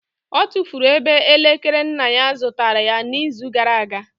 Ọ tụfuru ebe elekere nne ya zụtara ya n'izu gara aga